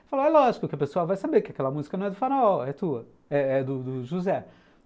Ele falou, é lógico que o pessoal vai saber que aquela música não é do Farol, é tua, é do do do José.